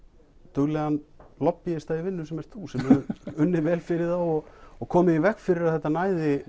duglegan í vinnu sem ert þú sem hefur unnið vel fyrir þá og komið í veg fyrir að þetta næði